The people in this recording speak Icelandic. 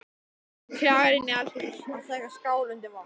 Hún kjagar inn í eldhús að sækja skál undir vatn.